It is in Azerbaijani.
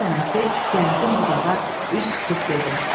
Qar dənəsi qəmgin budağa üz tutub dedi: